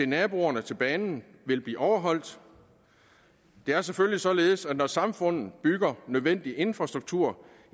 naboerne til banen vil blive overholdt det er selvfølgelig således at når samfundet bygger nødvendig infrastruktur